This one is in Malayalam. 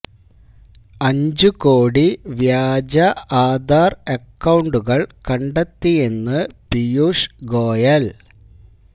അഞ്ചു കോടി വ്യാജ ആധാര് അക്കൌണ്ടുകള് കണ്ടെത്തിയെന്ന് പീയൂഷ് ഗോയല്